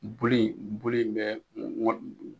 Bulu in bulu in bɛ